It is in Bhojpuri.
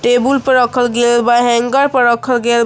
टेबुल पर रखल गइल बा हेंगर पर रखल गइल बा।